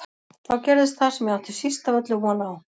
Þá gerðist það sem ég átti síst af öllu von á.